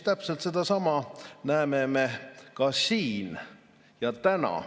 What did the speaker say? Täpselt sedasama näeme ka siin ja täna.